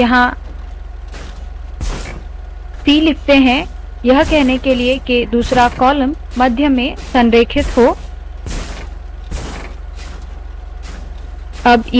यहाँ c लिखते है यह कहने के लिए के दूसरा कॉलम मध्य में संरेखित हो